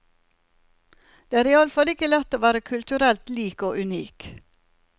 Det er iallfall ikke lett å være kulturelt lik og unik.